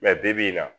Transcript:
bi-bi in na